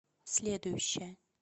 следующая